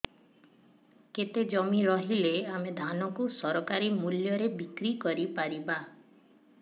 କେତେ ଜମି ରହିଲେ ଆମେ ଧାନ କୁ ସରକାରୀ ମୂଲ୍ଯରେ ବିକ୍ରି କରିପାରିବା